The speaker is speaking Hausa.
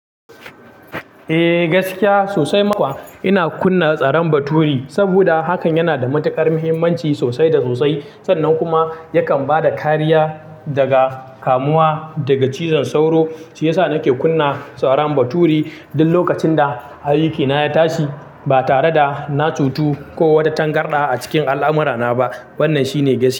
Eh, gaskiya sosai ma kuwa. Ina kunna tsaran bature, saboda hakan yana da matukar muhimmanci sosai da sosai. Sannan kuma, yakan bada kariya daga, kamuwa daga cizon sauro. Shi yasa nake kunna tsaran bature duk lokacin da ayyukana ya tashi, ba tare da na cutu ko wata tangarɗa a cikin al'amurana ba. Wannan shine gaskiya.